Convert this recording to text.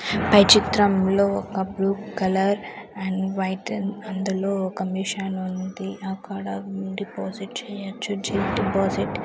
పై చిత్రంలో ఒక blue colour and white and అందులో ఒక మిషన్ ఉంది అక్కడ డిపాజిట్ చేయొచ్చు చిట్ డిపాజిట్ .